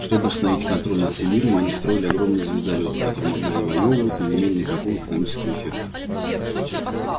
чтобы установить контроль над всем миром они строили огромные звездолёты которые могли завоёвывать но не имели никакого экономического эффекта